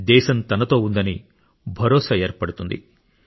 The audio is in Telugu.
దేశం తనతో ఉందని భరోసా ఏర్పడుతుంది